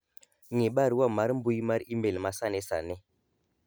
ng'i barua mar mbui mar email ma sani sani